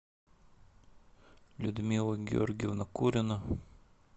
людмила георгиевна курина